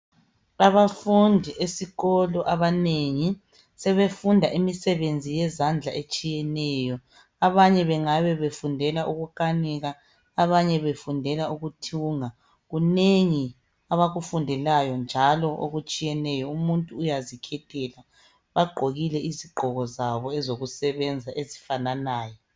Abafundi esikolo abanengi, sebefunda imisebenzi yezandla etshiyeneyo. Abanye bengabe befundela ukukanika. Abanye befundela ukuthunga. Kunengi abakufundelayo, njalo okutshiyeneyo. Umuntu uyazikhethela. Bagqokile izigqoko zabo ezokusebenza ezifananayo.